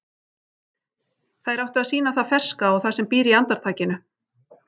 Þær áttu að sýna það ferska og það sem býr í andartakinu.